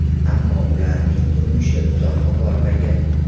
Ammo ularning turmushi uzoqqa bormagan.